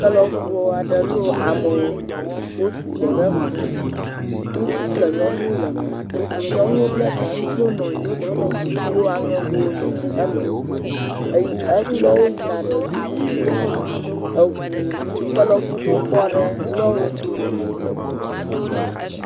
Kelɔɔu aɖe lɔ amewo wosugbɔ ɖe eme. Ŋutsu kple nyɔnuwo le eme. Nyɔnua bla ta. Ŋutsuwo nɔ anyi. Zikpuiwo aŋɛgowo le eme eye, elɔwo yina ɖe dububu me. Eŋu, ke lɔ ŋu xoxo aɖe lɔ wo.